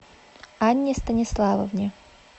анне станиславовне